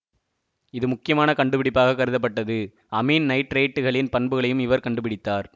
இது முக்கியமான கண்டுபிடிப்பாகக் கருதப்பட்டது அமீன் நைட்ரைட்டுகளின் பண்புகளையும் இவர் கண்டு பிடித்தார்